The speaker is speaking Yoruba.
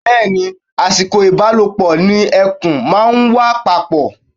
Bẹ́ẹ̀ ni, àsìkò ìbálòpọ̀ ni ẹ̀kùn máa ń wà papọ̀.